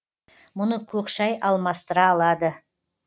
мұны көк шай алмастыра алады